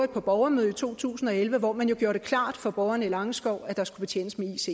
borgermøde i to tusind og elleve hvor man gjorde det klart for borgerne i langeskov at der skulle betjenes med